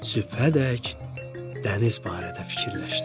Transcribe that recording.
Sübhədək dəniz barədə fikirləşdi.